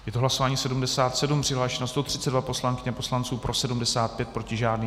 Je to hlasování 77, přihlášeno 132 poslankyň a poslanců, pro 75, proti žádný.